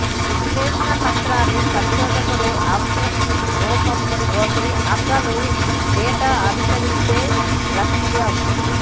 విశ్లేషణ పత్రాలు పరిశోధకుడు అవసరం రూపం లోకి అసలు డేటా అనుకరిస్తే లక్ష్యం